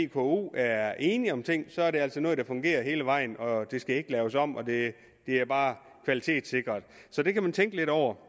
vko er enige om nogle ting så er det altså noget der fungerer hele vejen og det skal ikke laves om det er bare kvalitetssikret det kan man tænke lidt over